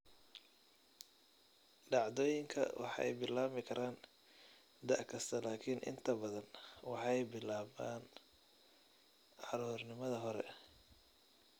Dhacdooyinku waxay bilaabmi karaan da' kasta laakiin inta badan waxay bilaabaan caruurnimada hore.